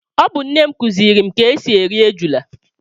Ọ bu nne m kuziri m ka esi eri ejula